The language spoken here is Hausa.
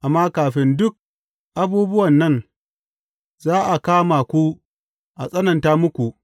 Amma kafin duk abubuwa nan, za a kama ku a tsananta muku.